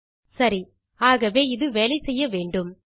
okay ஆகவே இது வேலை செய்ய வேன்டும்